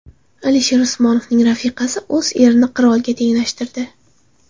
Alisher Usmonovning rafiqasi o‘z erini qirolga tenglashtirdi.